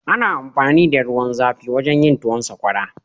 Ana amfani da ruwan zafi wajen yin tuwon sakwara